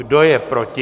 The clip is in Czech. Kdo je proti?